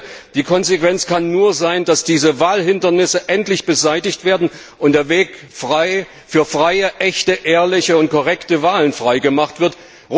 Ich finde, die Konsequenz kann nur sein, dass diese Wahlhindernisse endlich beseitigt werden und der Weg für freie, echte, ehrliche und korrekte Wahlen freigemacht wird.